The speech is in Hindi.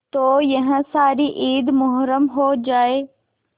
तो यह सारी ईद मुहर्रम हो जाए